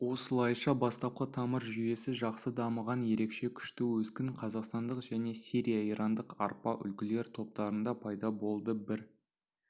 осылайша бастапқы тамыр жүйесі жақсы дамыған ерекше күшті өскін қазақстандық және сирия-ирандық арпа үлгілер топтарында пайда болды бір